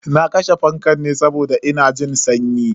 Na kashe fankan ne saboda ina jin sanyi.